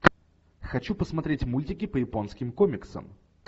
хочу посмотреть мультики по японским комиксам